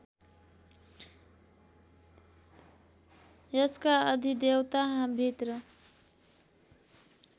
यसका अधिदेवता मित्र